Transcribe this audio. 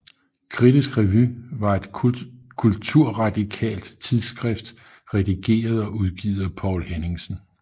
Kritisk Revy var et kulturradikalt tidsskrift redigeret og udgivet af Poul Henningsen